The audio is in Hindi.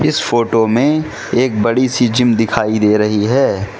इस फोटो में एक बड़ी सी जिम दिखाई दे रही है।